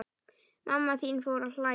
Mamma þín fór að hlæja.